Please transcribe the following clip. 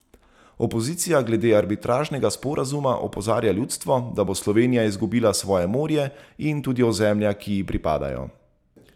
Opozicija glede arbitražnega sporazuma opozarja ljudstvo, da bo Slovenija izgubila svoje morje in tudi ozemlja, ki ji pripadajo.